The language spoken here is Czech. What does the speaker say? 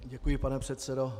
Děkuji, pane předsedo.